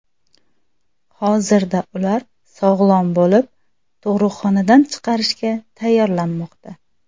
Hozirda ular sog‘lom bo‘lib, tug‘ruqxonadan chiqarishga tayyorlanmoqda.